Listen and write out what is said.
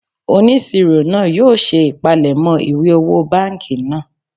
Onisiro naa yoo se ipalemo iwe owo banki naa